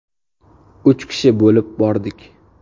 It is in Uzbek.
Uch kishi bo‘lib bordik.